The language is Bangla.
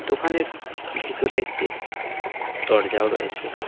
দোকানের ভেতরে একটি দরজাও রয়েসে।